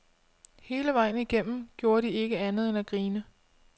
Hele vejen igennem gjorde de ikke andet end at grine.